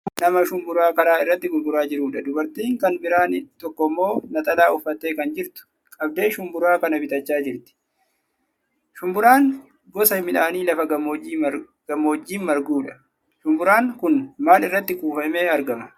Kun nama shumburaa karaa irratti gurguraa jiruudha. Dubartii kan biraan tokkommoo naxalaa uffattee kan jirtu, qabdee shumburaa kana bitachaa jirti. Shumburaan gosa midhaanii lafa gammoojjii marguudha. Shumburaan kun maal irratti kuufamee argama?